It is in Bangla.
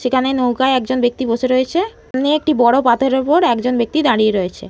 সে খানে নৌকায় একজন ব্যাক্তি বসে রয়েছে। দোকানে একটি বাটের ওপর একজন ব্যাক্তি দাঁড়িয়ে আছে।